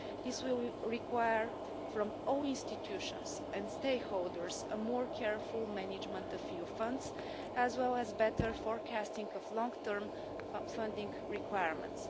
This will require, from all institutions and stakeholders, a more careful management of EU funds, as well as better forecasting of long term funding requirements.